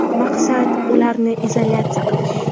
Maqsad – ularni izolyatsiya qilish.